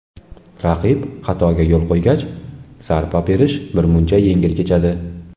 Raqib xatoga yo‘l qo‘ygach, zarba berish birmuncha yengil kechadi.